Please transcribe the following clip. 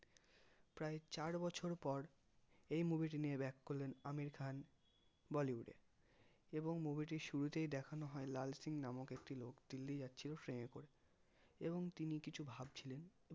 প্রায় চার বছর পর এই movie টি নিয়ে back করলেন আমির খান bollywood এ এবং movie টির শুরুতেই দেখানো হয় লাল সিং নামক একটি লোক দিল্লি যাচ্ছিলো ট্রেনে করে এবং তিনি কিছু ভাবছিলেন